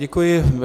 Děkuji.